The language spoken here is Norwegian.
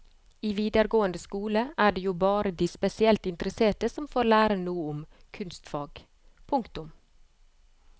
I videregående skole er det jo bare de spesielt interesserte som får lære noe om kunstfag. punktum